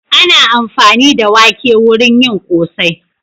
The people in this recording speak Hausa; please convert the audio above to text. Ana amfani da wake wurin yin ƙosai.